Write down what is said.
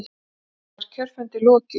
Þá var kjörfundi lokið.